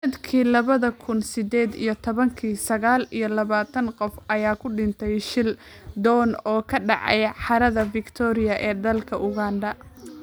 Sanadkii labada kuun sided iyo tobanka , sagaal iyo labatan qof ayaa ku dhintay shil doon oo ka dhacay harada Victoria ee dalka Uganda.